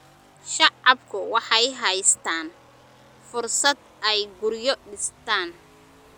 Shacabku waxay haystaan ??fursad ay guryo dhistaan.